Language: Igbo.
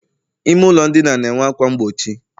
ime ụlọ ndina na-enwe ákwá mgbochi